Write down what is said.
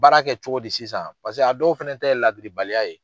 Baara kɛ cogo di sisan? Paseke a dɔw fɛnɛ ta ye ladiribaliya ye.